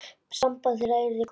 Samband þeirra yrði gott.